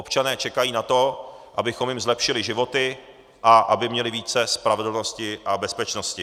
Občané čekají na to, abychom jim zlepšili životy a aby měli více spravedlnosti a bezpečnosti.